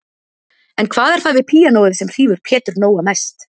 En hvað er það við píanóið sem hrífur Pétur Nóa mest?